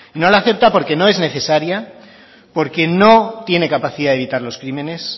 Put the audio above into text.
no la acepta porque no es necesaria porque no tiene capacidad de evitar los crímenes